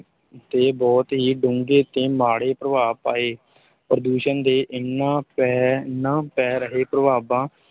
ਤੇ ਬਹੁਤ ਹੀ ਡੂੰਘੇ ਤੇ ਮਾੜੇ ਪ੍ਰਭਾਵ ਪਾਏ, ਪ੍ਰਦੂਸ਼ਣ ਦੇ ਇਹਨਾਂ ਪੈ, ਇਹਨਾਂ ਪੈ ਰਹੇ ਪ੍ਰਭਾਵਾਂ,